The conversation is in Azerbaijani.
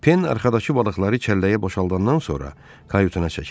Pen arxadakı balıqları çəlləyə boşaldandan sonra kayutuna çəkildi.